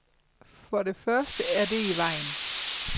For det første er det i vejen.